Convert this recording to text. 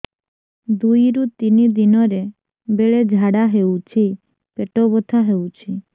ଦୁଇରୁ ତିନି ଦିନରେ ବେଳେ ଝାଡ଼ା ହେଉଛି ପେଟ ବଥା ହେଉଛି